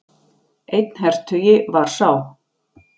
Einn hertugi var sá.